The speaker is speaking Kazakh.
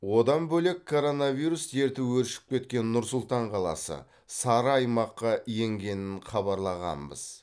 одан бөлек коронавирус дерті өршіп кеткен нұр сұлтан қаласы сары аймаққа енгенін хабарлағанбыз